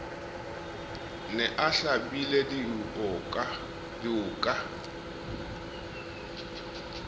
ne a hlabile dioka e